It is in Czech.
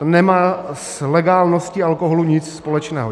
To nemá s legálností alkoholu nic společného.